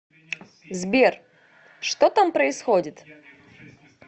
сбер что там происходит